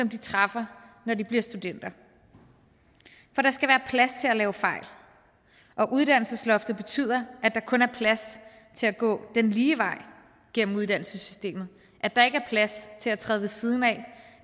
de træffer når de bliver studenter for der skal være plads til at lave fejl og uddannelsesloftet betyder at der kun er plads til at gå den lige vej gennem uddannelsessystemet at der ikke er plads til at træde ved siden af